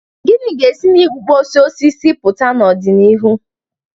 Gịnị ga-esi na igbukpọsị osisi pụta n'ọdịnihu?